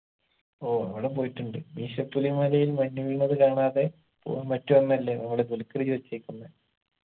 ഓ അവിടെ പോയിട്ടുണ്ട് മീശപ്പുലിമലയിൽ മഞ്ഞു വീണത് കാണാതെ പോവാൻ പറ്റുവാന്നല്ലേ നമ്മുടെ ദുൽഖുർ ചോയിച്ചേക്കുന്നെ